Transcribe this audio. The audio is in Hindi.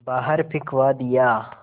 बाहर फिंकवा दिया